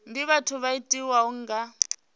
ndi vhathu vho tiwaho nga